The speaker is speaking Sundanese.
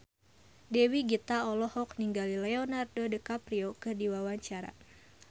Dewi Gita olohok ningali Leonardo DiCaprio keur diwawancara